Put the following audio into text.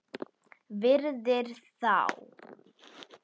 Virðir þá.